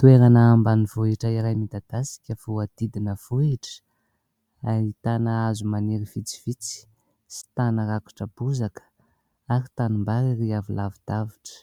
Toerana ambanivohitra iray midadasika, voahodidina vohitra. Ahitana hazo maniry vitsivitsy sy tany rakotra bozaka ary tanimbary ery avy lavidavitra.